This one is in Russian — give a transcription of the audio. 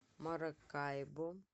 маракайбо